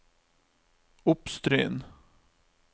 Oppstryn